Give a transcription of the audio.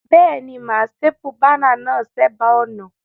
Béèni, mà á staple banner náà sébàá ònà